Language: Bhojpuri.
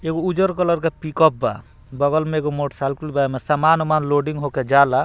एगो उजर कलर के पिक-अप बा बगल मे एगो मोटर साइकिल बा एमे समान-ओमान लोडिंग होकर जा ला।